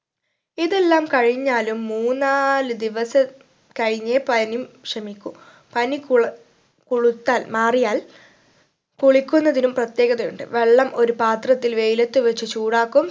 ഇതെല്ലാം കഴിഞ്ഞാലും മൂന്നാല് ദിവസ കഴിഞ്ഞേ പനി ക്ഷമിക്കൂ പനി കുള് കുളുത്താൽ മാറിയാൽ കുളിക്കുന്നതിനും പ്രത്യേകത ഉണ്ട് വെള്ളം ഒരു പാത്രത്തിൽ വെയിലത്തു വെച്ച് ചൂടാക്കും